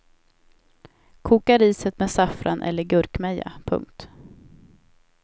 Koka riset med saffran eller gurkmeja. punkt